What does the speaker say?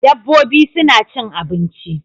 Dabbobi suna cin abinci